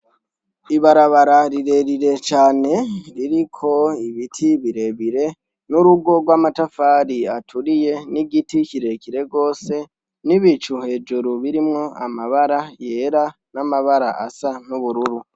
Ibarabara rirerire cane, ririko ibiti birebire, n'urugo rw'amatafari aturiye, n'igiti kirekire gose, n'ibicu hejuru birimwo amabara yera, n'amabara asa n'ubururu.